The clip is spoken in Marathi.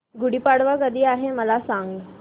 गुढी पाडवा कधी आहे मला सांग